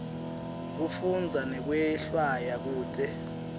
kufundza nekwehlwaya kute